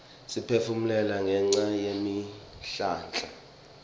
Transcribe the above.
siphefumula ngenca yetihlahla